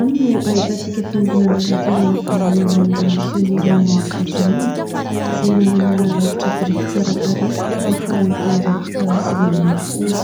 any no ahitantsika fiangonana loteriana voalohany, naorin'ny misionera Norveziana, izay nanana rafitra biriky tsara tarehy tamin'ny faran'ny taonjato fahasivy ambin'ny folo.